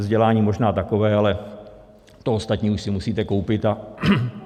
Vzdělání možná takové, ale to ostatní už si musíte koupit.